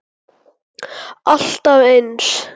Alltaf eins.